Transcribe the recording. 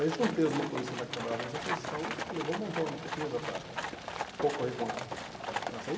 Aí juntei os motoristas lá que trabalhavam nessa função e falei, vamos montar uma empresa para concorrer com a com essa aí.